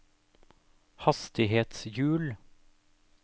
hastighetshjul